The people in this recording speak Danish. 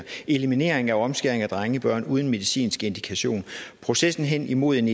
eliminering af omskæring af drengebørn uden medicinsk indikation processen hen imod en